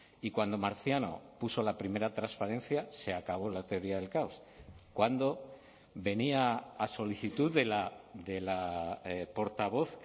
y cuando marciano puso la primera transparencia se acabó la teoría del caos cuando venía a solicitud de la portavoz